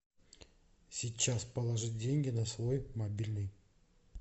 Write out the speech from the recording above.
сейчас положить деньги на свой мобильный